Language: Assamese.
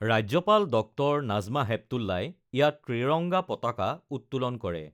ৰাজ্যপাল ডঃ নাজমা হেপতুল্লাই ইয়াত ত্ৰিৰংগা পতাকা উত্তোলন কৰে।